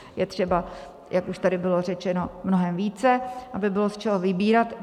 Je třeba, jak už tady bylo řečeno, mnohem více, aby bylo z čeho vybírat.